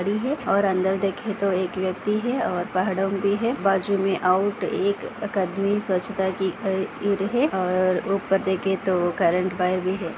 खड़ी है और अंदर देखे तो एक व्यक्ति है और पहाड़ो पे है बाजु मे आउट एक अकादमी स्वछता कि है और उपर देखे तो करंट वायर भी है।